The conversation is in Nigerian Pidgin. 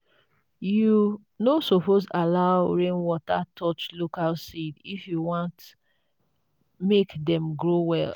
you no suppose allow rainwater touch local seeds if you want make dem grow well.